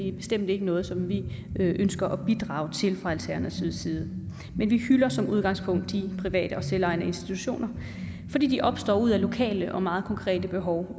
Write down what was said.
er bestemt ikke noget som vi ønsker at bidrage til fra alternativets side men vi hylder som udgangspunkt de private og selvejende institutioner fordi de opstår ud af lokale og meget konkrete behov og